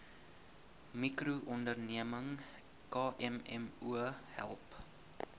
mikroonderneming kmmo help